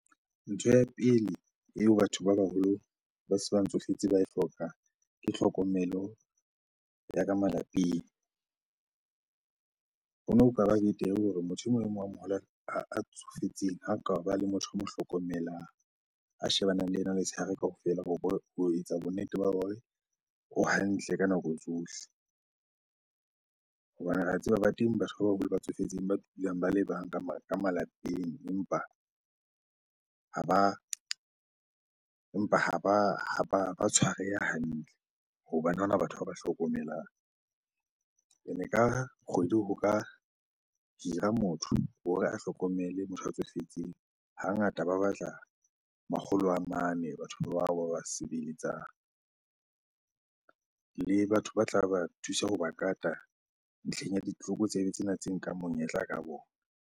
Ntho ya pele eo batho ba baholo ba se ba tsofetse ba e hlokang ke tlhokomelo ya ka malapeng. Hono kaba betere hore motho e mong le mong a moholo a tsofetseng ha kaba le motho o mo hlokomelang, a shebane le ena letshehare kaofela hore ho etsa bonnete ba hore o hantle ka nako tsohle. Hobane re a tseba ba teng batho ba baholo ba tsofetseng ba dulang ba le bang ka malapeng empa ha ba tshwareha hantle hobane ha ona batho ba ba hlokomelang. Ene ka kgwedi ho ka hira motho hore a hlokomele motho a tsofetseng, hangata ba batla makgolo a mane batho bao ba ba sebeletsang. Le batho ba tla ba thusa ho ba kata ntlheng ya ditlokotsebe tsena tse nkang monyetla ka bona.